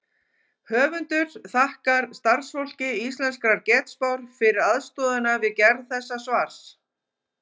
Höfundur þakkar starfsfólki Íslenskrar getspár fyrir aðstoðina við gerð þessa svars.